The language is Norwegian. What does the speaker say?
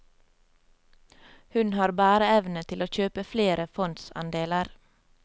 Hun har bæreevne til å kjøpe flere fondsandeler.